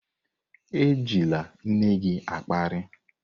Ejila nne gị akparị!